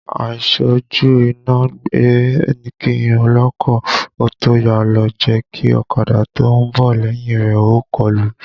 Àìṣẹ́jú iná ẹgbẹ́ kí ọlọ́kọ̀ ó tó yà ló jẹ́ kí ọ̀kadà tó ń bọ̀ lẹ́yìn rẹ̀ ó kọlù ú